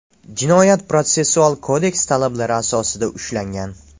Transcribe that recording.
Jinoyat-protsessual kodeks talablari asosida ushlangan.